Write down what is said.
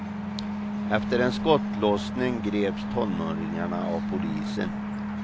Efter en skottlossning greps tonåringarna av polisen.